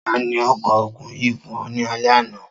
Ta ni ó ko ògùn yìí fún o nì alẹ ana?.